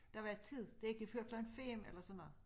Der var et tid det ikke før klokken 5 eller sådan noget